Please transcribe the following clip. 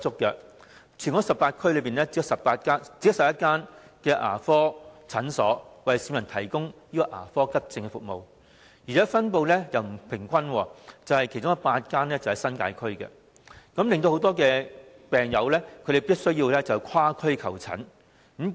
在全港18區，只有11間牙科診所為市民提供牙科急症服務，而且分布不平均，其中8間位於新界區，令很多病人必須跨區求診。